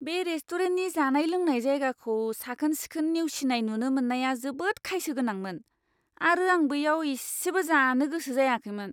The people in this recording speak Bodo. बे रेस्टुरेन्टनि जानाय लोंनाय जायगाखौ साखोन सिखोन नेवसिनाय नुनो मोननाया जोबोद खायसो गोनांमोन आरो आं बैयाव इसेबो जानो गोसो जायाखैमोन!